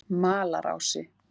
Malarási